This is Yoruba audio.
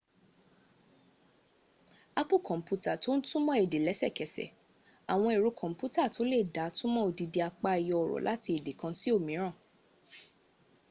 apu komputa to n tumo ede lesekese awon ero komputa to le da tumo odindi apa eyo oro lati ede kan si omira